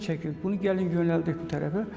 Bunu gəlin yönəldək bu tərəfə.